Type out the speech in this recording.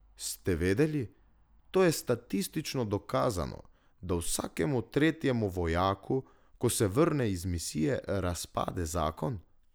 Ste vedeli, to je statistično dokazano, da vsakemu tretjemu vojaku, ko se vrne iz misije, razpade zakon?